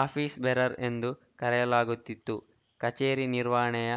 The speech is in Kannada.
ಆಫೀಸ್‌ ಬೇರರ್‌ ಎಂದು ಕರೆಯಲಾಗುತ್ತಿತ್ತು ಕಚೇರಿ ನಿರ್ವಹಣೆಯ